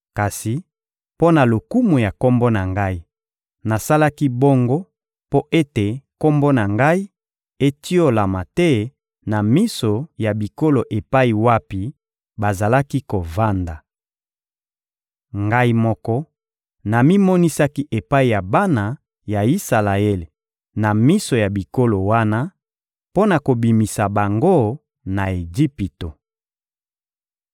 Kasi mpo na lokumu ya Kombo na Ngai, nasalaki bongo mpo ete Kombo na Ngai etiolama te na miso ya bikolo epai wapi bazalaki kovanda. Ngai moko namimonisaki epai ya bana ya Isalaele na miso ya bikolo wana, mpo na kobimisa bango na Ejipito.